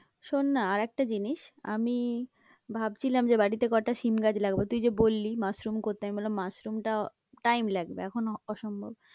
শোন না আর একটা জিনিস, আমি ভাবছিলাম যে বাড়িতে কটা সিম গাছ লাগাবো, তুই যে বললি মাশরুম করতে, আমি বললাম মাশরুমটা time লাগবে, এখন অসম্ভব।